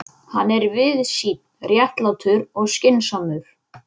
en þar var fremur lítið landrými.